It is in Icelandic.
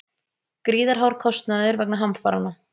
Gríðarhár kostnaður vegna hamfaranna